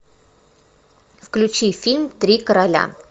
включи фильм три короля